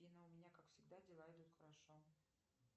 афина у меня как всегда дела идут хорошо